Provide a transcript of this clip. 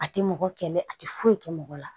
A tɛ mɔgɔ kɛlɛ a tɛ foyi kɛ mɔgɔ la